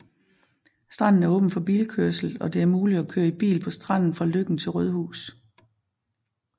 Stranden er åben for bilkørsel og det er muligt at køre i bil på stranden fra Løkken til Rødhus